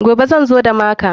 Gobe zan zo da maka.